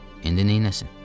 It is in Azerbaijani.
İndi neyləsin?